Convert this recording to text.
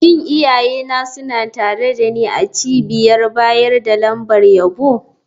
Shin iyayena suna tare da ni a cibiyar bayar da lambar yabo?